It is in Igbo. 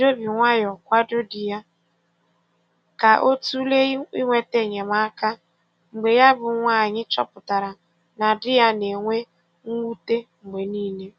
O ji obi nwayọ kwado di ya ka ọ tụlee ịnweta enyemaka mgbe ya bụ nwaanyị chọpụtara na di ya na-enwe mwute mgbe niile.